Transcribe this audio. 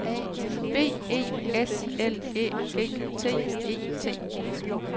B E S L Æ G T E T